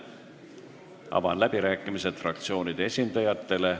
Avan läbirääkimised fraktsioonide esindajatele.